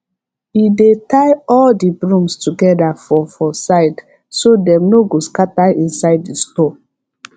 he dey tie all the brooms together for for side so dem no go scatter inside the store